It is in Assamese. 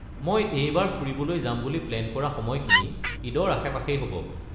মই এইবাৰ ফুৰিবলৈ যাম বুলি প্লেন কৰা সময়খিনি ঈদৰ আশে-পাশেই হ'ব।